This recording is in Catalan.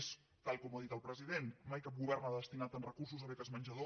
és tal com ho ha dit el president mai cap govern ha destinat tants recursos a beques menjador